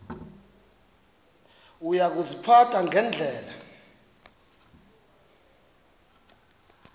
uya kuziphatha ngendlela